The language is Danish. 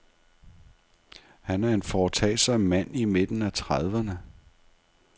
Han er en foretagsom mand i midten af trediverne.